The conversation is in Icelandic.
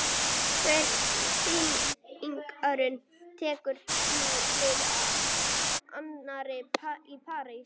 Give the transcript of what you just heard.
Hver sýningin tekur nú við af annarri- Í París